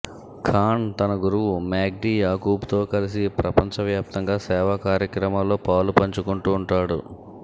ఖాన్ తన గురువు మాగ్డీ యాకూబ్తో కలిసి ప్రపంచ వ్యాప్తంగా సేవా కార్యక్రమాల్లో పాలు పంచుకుంటూంటాడు